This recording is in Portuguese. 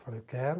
Falei, eu quero.